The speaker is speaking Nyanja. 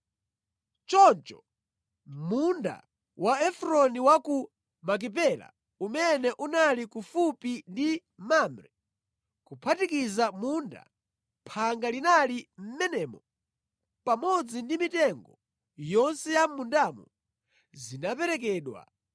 Choncho munda wa Efroni wa ku Makipela umene unali kufupi ndi Mamre, kuphatikiza munda, phanga linali mʼmenemo pamodzi ndi mitengo yonse ya mʼmundamo, zinaperekedwa